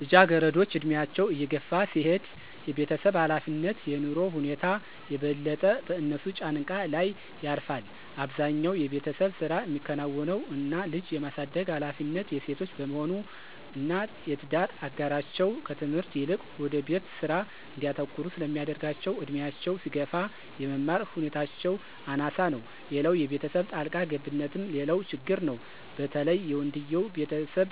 ልጃገረዶች ዕድሜያቸው እየገፋ ሲሄድ የቤተሰብ ኃላፊነት (የኑሮ ሁኔታ) የበለጠ በእነሱ ጫንቃ ላይ ያርፋል። አብዛኛው የቤተሰብ ስራ ሚከናወነው እና ልጅ የማሳደግ ሀላፊነት የሴቶች በመሆኑ እና የትዳር አጋራቸው ከትምህርት ይልቅ ወደ ቤት ስራ እንዲያተኩሩ ስለሚያደረጋቸው እድሜያቸው ሲገፋ የመማር ሁኔታቸው አናሳ ነው። ሌላው የቤተሰብ ጣልቃ ገብነትም ሌላው ችግር ነው በተለይ የወንድየው ቤተሰብ